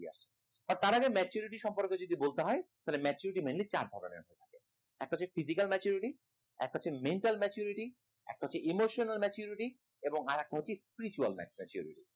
তার আগে যদি maturity সম্পর্কে বলতে হয় তাহলে maturity mainly চার ধরনের একটা হচ্ছে physical maturity একটা হচ্ছে mental maturity একটা হচ্ছে emotional maturity এবং আর একটা হচ্ছে spiritual maturity